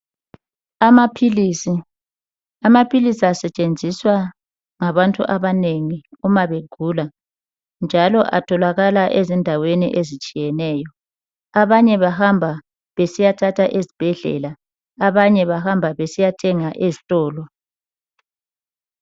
Amaphilisi, amaphilisi asetshenziswa ngabantu abanengi uma begula, njalo atholakala ezindaweni ezitshiyeneyo. Abanye bahamba besiyathatha ezibhedlela, abanye bahamba besiyathenga eztolo.